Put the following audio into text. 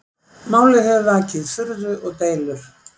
Málið hefur vakið furðu og deilur